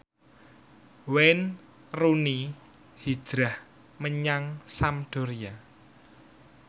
Wayne Rooney hijrah menyang Sampdoria